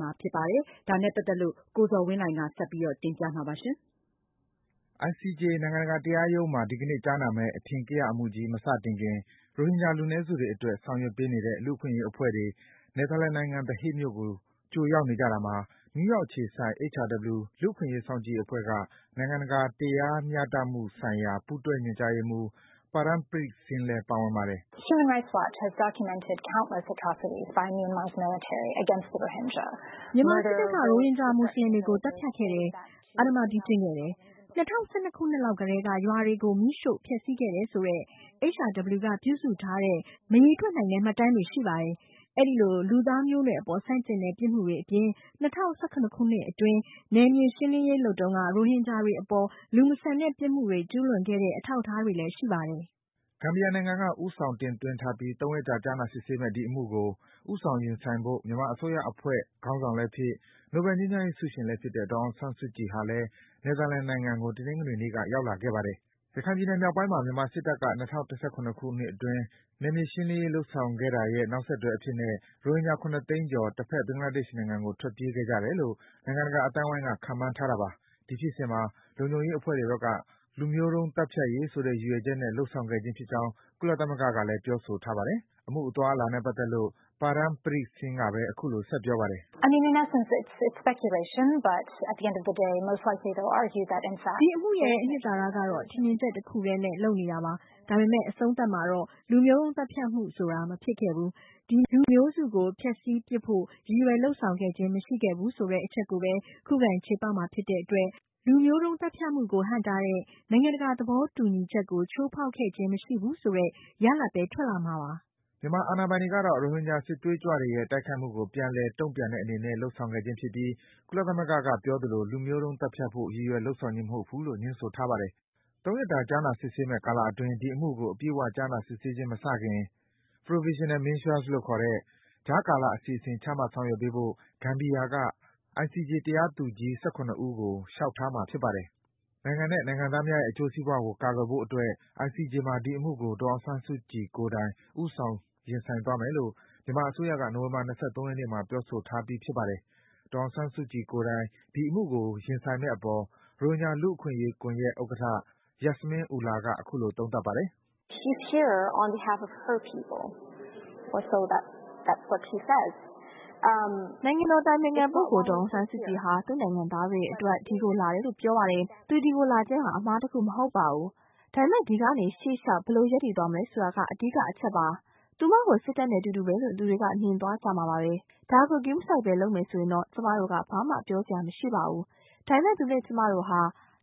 မှာ ဖြစ်ပါတယ်။ ဒီအကြောင်း ရိုက်တာသတင်းကို အခြေခံပြီး ကိုဇော်ဝင်းလှိုင်က စတင်ပြပေးထားပါတယ်။ ICJ နိုင်ငံတကာတရားရုံးမှာ အင်္ဂါနေ့မှာ ကြားနာမယ့် အထင်ကရအမှုကြီး မစခင် ရိုဟင်ဂျာလူနည်းစုတွေအတွက် ဆောင်ရွက်ပေးနေတဲ့ လူ့အခွင့်အရေးအဖွဲ့တွေ နယ်သာလန်နိုင်ငံ၊ The Hague မြို့ကို ကြိုရောက်နေကြတာမှာ နယူးယောက်အခြေစိုက် HRW လူ့အခွင့်အရေး စောင့်ကြည့်ရေးအဖွဲ့က နိုင်ငံတကာတရား တရားမျှမှုဆိုင်ရာ ပူးတွဲညွန်ကြားရေးမှူး Param Preet-Singh လည်း ပါဝင်ပါတယ်။ “မြန်မာစစ်တပ်က ရိုဟင်ဂျာ မွတ်ဆလင်တွေကို သတ်ဖြတ်ခဲ့တယ်၊ အဓမ္မပြုကျင့်ခဲ့တယ်၊ ၂၀၁၂ ခုနှစ်လောက်ကတည်းက ရွာတွေကို မီးရှို့ ဖျက်ဆီးခဲ့တယ်ဆိုတဲ့ HRW က ပြုစုထားတဲ့ မရေတွက်နိုင်တဲ့ မှတ်တမ်းပြုစုထားတာတွေ ရှိပါတယ်။ အဲဒီလို လူသားမျိုးနွယ်အပေါ် ဆန့်ကျင်တဲ့ ပြစ်မှုတွေအပြင် ၂၀၁၇ ခုနှစ်အတွင်း နယ်မြေရှင်းလင်းရေးလုပ်တုန်းက ရိုဟင်ဂျာတွေအပေါ် လူမဆန်တဲ့ ပြစ်မှုတွေ ကျူးလွန်ခဲ့တဲ့ အထောက်အထားတွေလည်း ရှိပါတယ်။” ဂမ်ဘီယာနိုင်ငံက ဦးဆောင် တင်သွင်းထားပြီး ၃ ရက်ကြာ ကြားနာစစ်ဆေးမယ့် ဒီအမှုကို ဦးဆောင်ရင်ဆိုင်ဖို့ မြန်မာအစိုးရအဖွဲ့ ခေါင်းဆောင်လည်းဖြစ်၊ နိုဘဲငြိမ်းချမ်းရေးဆုရှင်လည်းဖြစ်တဲ့ ဒေါ်အောင်ဆန်းစုကြည်ဟာလည်း နယ်သာလန်နိုင်ငံကို တနင်္ဂနွေနေ့က ရောက်လာခဲ့ပါတယ်။ ရခိုင်ပြည်နယ်မြောက်ပိုင်းမှာ မြန်မာစစ်တပ်က ၂၀၁၇ ခုနှစ်အတွင်း နယ်မြေရှင်းလင်းရေး လုပ်ဆောင်ခဲ့တာရဲ့ နောက်ဆက်တွဲအဖြစ်နဲ့ ရိုဟင်ဂျာ ၇ သိန်းကျော် တဘက် ဘင်္ဂလားဒေ့ရှ်နိုင်ငံကို ထွက်ပြေးခဲ့ကြတယ်လို့ နိုင်ငံတကာအသိုင်းဝိုင်းက ခန့်မှန်းထားတာပါ။ ဒီဖြစ်စဉ်မှာ လုံခြုံရေးတပ်ဖွဲ့တွေဘက်က လူမျိုးတုံးသတ်ဖြတ်ရေးဆိုတဲ့ ရည်ရွယ်ချက်နဲ့ လုပ်ဆောင်ခဲ့ခြင်းဖြစ်ကြောင်း ကုလသမဂ္ဂက ပြောထားပါတယ်။ အမှုအသွားအလာနဲ့ ပတ်သက်လို့ Param Preet-Singh ကဘဲ အခုလို ဆက်ပြောပါတယ်။ “ဒီအမှုရဲ့ အနှစ်သာရကတော့ ထင်မြင်ချက်တခုထဲနဲ့ လုပ်နေတာပါ။ ဒါပေမယ့် အဆုံးသတ်မှာတော့ လူမျိုးတုံးသတ်ဖြတ်မှုဆိုတာ မဖြစ်ခဲ့ဘူး၊ ဒီလူမျိုးစုကို ဖျက်ဆီးပစ်ဖို့ ရည်ရွယ်လုပ်ဆောင်ခဲ့ခြင်း မရှိဘူးဆိုတဲ့ အချက်ကိုဘဲ ခုခံ ချေပမှာဖြစ်တဲ့အတွက် လူမျိုးသတ်ဖြတ်မှုကို ဟန့်တားတဲ့ နိုင်ငံတကာသဘောတူညီချက်ကို ချိုးဖောက်ခဲ့ခြင်း မရှိဘူးဆိုတဲ့ ရလဒ်ဘဲ ထွက်လာမှာပါ။” မြန်မာအာဏာပိုင်တွေကတော့ ရိုဟင်ဂျာ စစ်သွေးကြွတွေရဲ့ တိုက်ခိုက်မှုကို ပြန်လည် တုန့်ပြန်တဲ့အနေနဲ့ လုပ်ဆောင်ခဲ့ခြင်းဖြစ်ပြီး ကုလသမဂ္ဂကပြောသလို လူမျိုးတုံး သတ်ဖြတ်ဖို့ ရည်ရွယ်လုပ်ဆောင်ခြင်းမဟုတ်ဘူးဆိုပြီး ငြင်းဆိုထားပါတယ်။ ၃ ရက်တာ ကြားနာမယ့်ကာလအတွင်း ဒီအမှုကို အပြည့်အ၀ ကြားနာ စစ်ဆေးခြင်း မစတင်ခင် Provisional Measures လို့ ခေါ်တဲ့ ကြားကာလ အစီအစဉ် ချမှတ်ဆောင်ရွက်ပေးဖို့ ဂမ်ဘီယာက ICJ တရားသူကြီး ၁၇ ဦးကို လျှောက်ထားမှာ ဖြစ်ပါတယ်။ နိုင်ငံနဲ့ နိုင်ငံသားများရဲ့အကျိုးစီးပွားကို ကာကွယ်ဖို့အတွက် ICJ မှာ ဒီအမှုကို ဒေါ်အောင်ဆန်းစုကြည်ကိုယ်တိုင် ဦးဆောင် ရင်ဆိုင်သွားမယ်လို့ မြန်မာအစိုးရက နိုဝင်ဘာလ ၂၃ ရက်နေ့မှာ ပြောဆိုထားပြီး ဖြစ်ပါတယ်။ ဒေါ်အောင်ဆန်းစုကြည်ကိုယ်တိုင် ဒီအမှုကို ရင်ဆိုင်မယ့်အပေါ် ရိုဟင်ဂျာလူ့အခွင့်အရေးကွန်ယက်ဥက္ကဌ Yasmin Ullah က အခုလို သုံးသပ်ပါတယ်။ “နိုင်ငံတော်အတိုင်ပင်ခံပုဂ္ဂိုလ် ဒေါ်အောင်ဆန်းစုကြည်ဟာ သူ့နိုင်ငံသားတွေအတွက် ဒီကိုလာတယ်လို့ ပြောပါတယ်။ သူဒီကိုလာခြင်းဟာ အမှားတခုမဟုတ်ပါဘူး၊ ဒါပေမယ့် ဒီကနေ ရှေ့လျှောက် ဘယ်လို ရပ်တည်သွားမလဲဆိုတာက အဓိကအချက်ပါ။ သူမကို စစ်တပ်နဲ့ အတူတူဘဲလို့ လူတွေက မြင်သွားကြမှာပါဘဲ၊ ဒါကို ဂရုမစိုက်ဘဲ လုပ်မယ်ဆိုရင်တော့ ကျမတို့က ဘာမှ ပြောစရာ မရှိပါဘူး၊ ဒါပေမယ့် သူနဲ့ကျမတို့ဟာ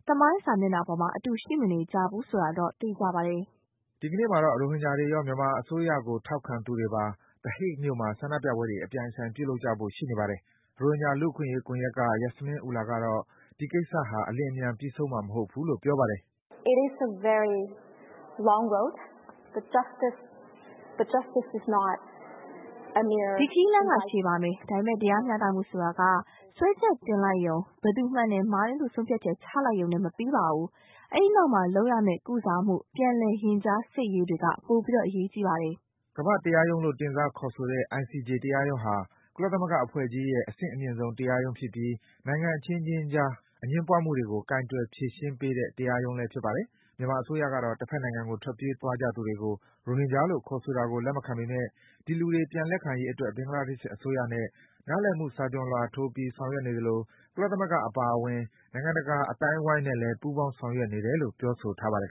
သမိုင်းစာမျက်နှာပေါ်မှာ အတူ ရှိမနေကြဘူး ဆိုတာတော့ သေချာပါတယ်။” ဒီကနေ့မှာတော့ ရိုဟင်ဂျာတွေရော မြန်မာအစိုးရကို ထောက်ခံသူတွေပါ The Hague မြို့မှာ ဆန္ဒပြပွဲတွေ အပြိုင်အဆိုင် ပြုလုပ်ကြဖို့ ရှိနေပါတယ်။ ရိုဟင်ဂျာ လူ့အခွင့်အရေးကွန်ယက်က Yasmin Ullah ကတော့ ဒီကိစ္စဟာ အလျင်အမြန် ပြီးဆုံးမှာ မဟုတ်ဘူးလို့ ပြောပါတယ်။ “ဒီခရီးလမ်းက ရှည်ပါမယ်။ ဒါပေမယ့် တရားမျှတမှုဆိုတာက စွဲချက်တင်လိုက်ယုံ၊ ဘယ်သူမှန်တယ်၊ မှားတယ်လို့ ဆုံးဖြတ်ချက်ချပေးလိုက်ယုံနဲ့ မပြီးပါဘူး။ အဲဒီနောက်မှာ လုပ်ရမယ့် ကုစားမှု၊ ပြန်လည် ရင်ကြားစေ့ရေးတွေက ပိုအရေးကြီးပါတယ်။” ကမ္ဘာ့ တရားရုံးလို့ တင်စားခေါ်ဆိုတဲ့ ICJ တရားရုံးဟာ ကုလသမဂ္ဂအဖွဲ့ကြီးရဲ့ အဆင့်အမြင်ဆုံး တရားရုံးဖြစ်ပြီး နိုင်ငံအခြင်းခြင်းအကြား အငြင်းပွားမှုတွေကို ကိုင်တွယ် ဖြေရှင်းတဲ့ တရားရုံးဖြစ်ပါတယ်။ မြန်မာအစိုးရကတော့ တဘက်နိုင်ငံကို ထွက်ပြေးသွားကြသူတွေကို ရိုဟင်လို့ ခေါ်ဆိုတာကို လက်မခံပေမယ့် ဒီလူတွေ ပြန်လက်ခံရေးအတွက် ဘင်္ဂလားဒေ့ရှ်အစိုးရနဲ့ နားလည်မှုစာချွန်လွှာထိုးပြီး ဆောင်ရွက်နေသလို ကုလသမဂ္ဂအပါအဝင် နိုင်ငံတကာ အသိုင်းဝိုင်းနဲ့လည်း ပူးပေါင်း ဆောင်ရွက်နေတယ်လို့ ပြောဆိုထားပါတယ်